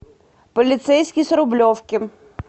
полицейский с рублевки